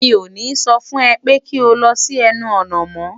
Mi ò ní so fun ę pé kí o lo sí ęnu ònà mó!